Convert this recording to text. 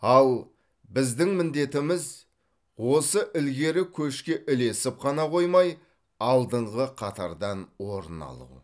ал біздің міндетіміз осы ілгері көшке ілесіп қана қоймай алдыңғы қатардан орын алу